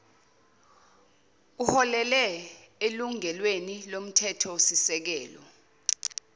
uholele elungelweni lomthethosisekelo